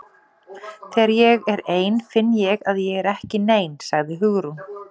Þegar ég er ein finn ég að ég er ekki nein- sagði Hugrún.